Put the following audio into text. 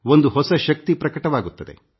ಒಂದು ಹೊಸ ಶಕ್ತಿ ಹೊರ ಹೊಮ್ಮುತ್ತದೆ